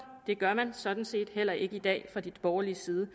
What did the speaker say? det gør man sådan set heller ikke i dag fra de borgerliges side